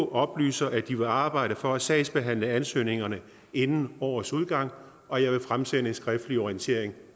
oplyser at de vil arbejde for at sagsbehandle ansøgningerne inden årets udgang og jeg vil fremsende en skriftlig orientering